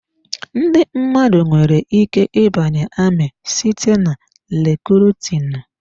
Ndị mmadụ nwere ike ịbanye amị site na rekrutinu.